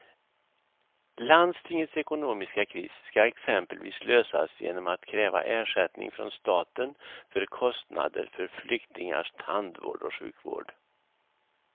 Landstingets ekonomiska kris ska exempelvis lösas genom att kräva ersättning från staten för kostnader för flyktingars tandvård och sjukvård.